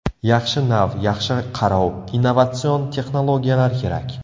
Yaxshi nav, yaxshi qarov, innovatsion texnologiyalar kerak.